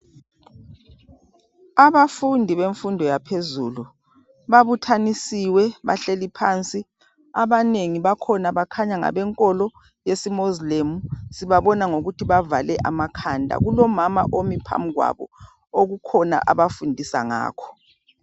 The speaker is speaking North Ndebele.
Abafundi bemfundo yaphezulu babuthanisiwe bahleli phansi abanengi bakhona bakhanya ngabenkolo yesiMoslem sibabona ngokuthi bavale amakhanda. Kulomama omi phambili kwabo okukhona abafundisa ngakho.